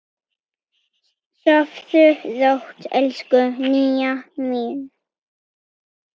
Sofðu rótt, elsku Nýja mín.